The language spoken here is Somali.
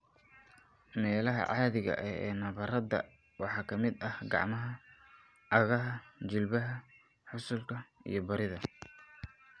Meelaha caadiga ah ee nabarrada waxaa ka mid ah gacmaha, cagaha, jilbaha, xusullada, iyo barida.